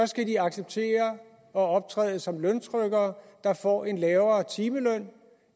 skal de acceptere at optræde som løntrykkere der får en lavere timeløn